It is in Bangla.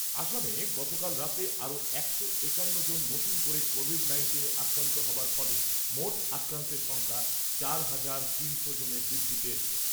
অসমে গতকাল রাতে আরও একশো একান্ন জন নতুন করে কোভিড নাইন্টিনে আক্রান্ত হবার ফলে মোট আক্রান্তের সংখ্যা চার হাজার তিনশো জনে বৃদ্ধি পেয়েছে।